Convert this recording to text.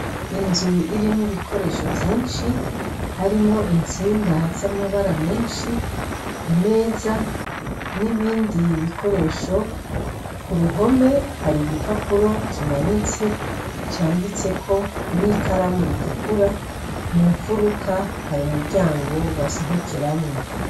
Inzu irimwo ibikoresho vyinshi harimwo intsinga z'amabara menshi imeza n'ibindi bikoresho ku ruhome hari igipapuro kimanitse canditseko n'ikaramu ritukura munfuruka hari umuryango basohokeramwo.